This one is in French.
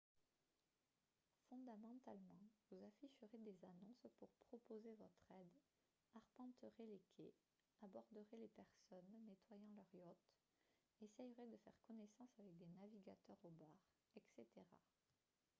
fondamentalement vous afficherez des annonces pour proposer votre aide arpenterez les quais aborderez les personnes nettoyant leurs yachts essayerez de faire connaissance avec des navigateurs au bar etc